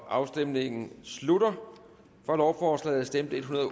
afstemningen slutter for lovforslaget stemte en hundrede og